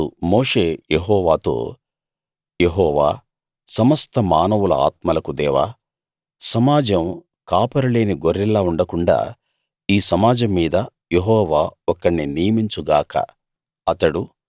అప్పుడు మోషే యెహోవాతో యెహోవా సమస్త మానవుల ఆత్మలకు దేవా సమాజం కాపరి లేని గొర్రెల్లా ఉండకుండాా ఈ సమాజం మీద యెహోవా ఒకణ్ణి నియమించు గాక